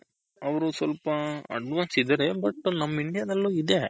ಅವ್ರು ಸ್ವಲ್ಪ advance ಇದಾರೆ but ನಮ್ಮ India ದಲ್ಲೂ ಇದೆ .